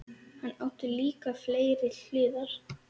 Hann átti líka fleiri hliðar.